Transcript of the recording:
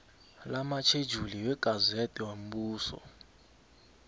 lamatjhejuli wegazede yombuso